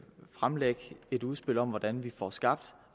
fremlægge et udspil om hvordan vi får skabt